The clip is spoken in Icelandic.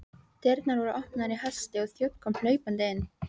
Dyrnar voru opnaðar í hasti og þjónn kom hlaupandi inn.